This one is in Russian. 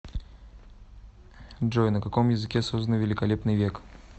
джой на каком языке создано великолепный век